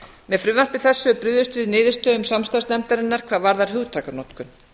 með frumvarpi þessu er brugðist við niðurstöðum samstarfsnefndarinnar hvað varðar hugtakanotkun